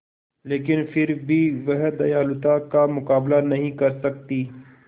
लेकिन फिर भी वह दयालुता का मुकाबला नहीं कर सकती